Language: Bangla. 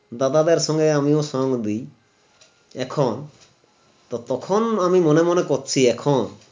দাদার সঙ্গে আমিও সঙ্গ এখন তো তখন আমি মনে মনে করছি এখন